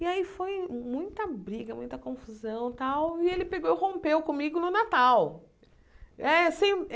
E aí foi muita briga, muita confusão e tal, e ele pegou e rompeu comigo no Natal. É sem